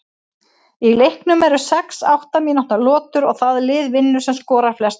Í leiknum eru sex átta mínútna lotur og það lið vinnur sem skorar flest mörk.